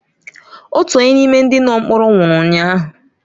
Otu onye n’ime ndị nọ mkpọrọ nwụrụ ụnyahụ